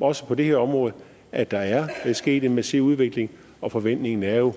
også på det her område at der er sket en massiv udvikling og forventningen er jo